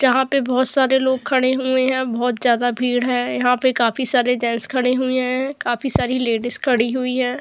जहाँ पर बहुत सारे लोग खड़े हुए हैं। बहुत ज्यादा भीड़ हैं यहाँ पे काफी सारे जेंट्स खड़े हुए हैं काफी सारी लेडीज खड़ी हुई है।